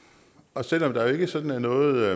og selv om der jo ikke sådan er noget